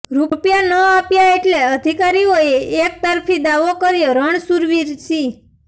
રૂપિયા ન આપ્યા એટલે અધિકારીઓએ એક તરફી દાવો કર્યોઃ રણસુરવીરસિંહ